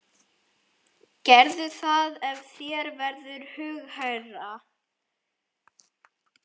Gerðu það ef þér verður hughægra.